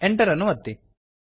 enter ಅನ್ನು ಒತ್ತಿರಿ